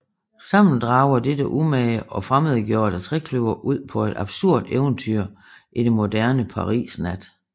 Sammen drager dette umage og fremmedgjordte trekløver ud på et absurd eventyr i det moderne Paris nat